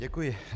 Děkuji.